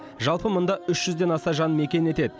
жалпы мұнда үш жүзден аса жан мекен етеді